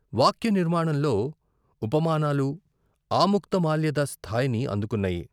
వాక్య నిర్మాణంలో ఉపమానాలు ఆముక్త మాల్యద స్థాయిని అందుకున్నాయి.